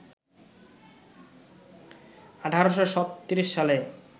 ১৮৩৬ সালে